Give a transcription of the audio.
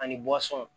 Ani